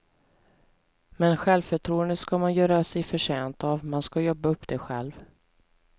Men självförtroende ska man göra sig förtjänt av, man ska jobba upp det själv.